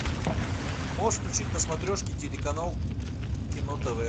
можешь включить на смотрешке телеканал кино тв